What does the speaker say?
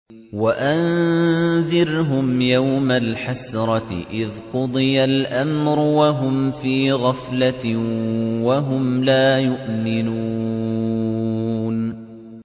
وَأَنذِرْهُمْ يَوْمَ الْحَسْرَةِ إِذْ قُضِيَ الْأَمْرُ وَهُمْ فِي غَفْلَةٍ وَهُمْ لَا يُؤْمِنُونَ